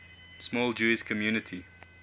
small jewish community